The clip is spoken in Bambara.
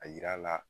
A yira la